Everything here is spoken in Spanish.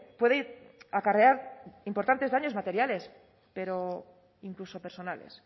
puede acarrear importantes daños materiales pero incluso personales